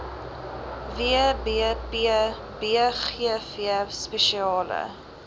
wbp bgv spesiale